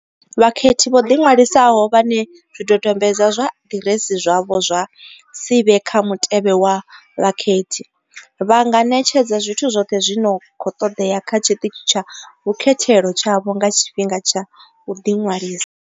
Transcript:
Vhakhethi vho ḓiṅwalisaho, vhane zwidodombedzwa zwa ḓiresi zwavho zwa si vhe kha mutevhe wa vhakhethi, vha nga ṋetshedza zwithu zwoṱhe zwi no khou ṱoḓea kha tshiṱitshi tsha vhukhethelo tshavho nga tshifhinga tsha u ḓiṅwalisa.